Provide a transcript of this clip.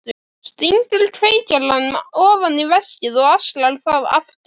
Stingur kveikjaranum ofan í veskið og axlar það aftur.